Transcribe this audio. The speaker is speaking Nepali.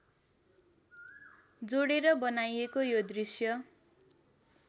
जोडेर बनाइएको यो दृश्य